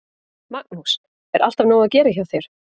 Magnús: Er alltaf nóg að gera hjá þér?